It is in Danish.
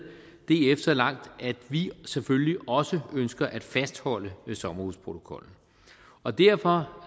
df så langt at vi selvfølgelig også ønsker at fastholde sommerhusprotokollen og derfor